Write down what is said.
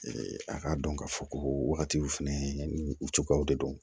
a k'a dɔn k'a fɔ ko wagati fɛnɛ ni u cogoyaw de don